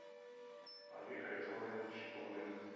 олег александрович чепурных